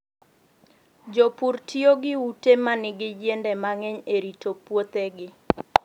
Jopur tiyo gi ute ma nigi yiende mang'eny e rito puothegi.